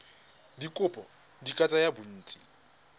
dikopo di ka tsaya bontsi